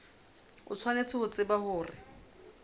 o tshwanetse ho tseba hore